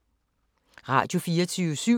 Radio24syv